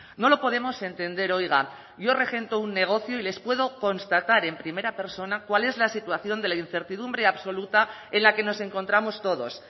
no lo podemos entender oiga yo regento un negocio y les puedo constatar en primera persona cuál es la situación de la incertidumbre absoluta en la que nos encontramos todos